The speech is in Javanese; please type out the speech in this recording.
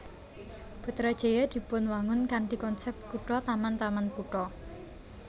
Putrajaya dipunwangun kanthi konsep kutha taman taman kutha